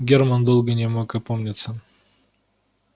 германн долго не мог опомниться